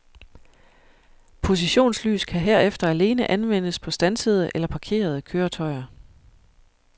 Positionslys kan herefter alene anvendes på standsede eller parkerede køretøjer.